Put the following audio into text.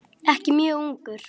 Ekki mjög ungur.